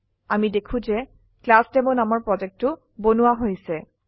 আমি দেখো যে ক্লাছডেমো নামৰ প্ৰজেক্টো বনোৱা হৈছে